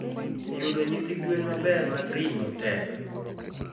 yudo nyithi gwen maber mag ring'o tek.